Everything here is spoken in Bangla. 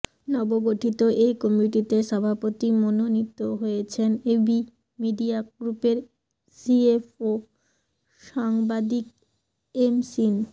নবগঠিত এ কমিটিতে সভাপতি মনোনীত হয়েছেন এবি মিডিয়া গ্রুপের সিএফও সাংবাদিক এম সিন